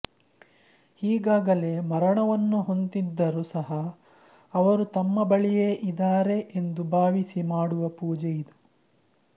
ಇಗಾಗಲೇ ಮರಣವನ್ನು ಹೊಂದ್ದಿದ್ದರೂ ಸಹ ಅವರು ತಮ್ಮ ಬಳಿಯೇ ಇದಾರೆ ಎಂದು ಭಾವಿಸಿ ಮಾಡುವ ಪೂಜೆ ಇದು